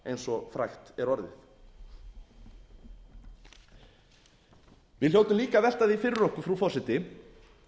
eins og frægt er orðið við hljótum líka að velta því fyrir okkur frú forseti